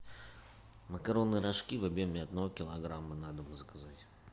макароны рожки в объеме одного килограмма на дом заказать